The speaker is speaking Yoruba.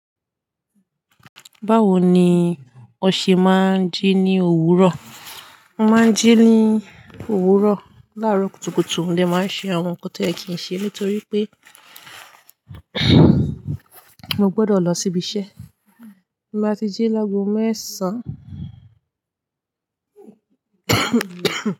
Báwo ni o ṣe máa ń jí ní òwúrọ̀? Mo máa ń jí ní òwúrọ̀. Láàárọ̀ kùtùkùtù mo dé màá ń ṣe àwọn nǹkan tó yẹ kì ń ṣe nítorí pé mo gbọ́dọ̀ lọ síbi iṣẹ́. Mo máa ti jí láàgò mẹẹsàn.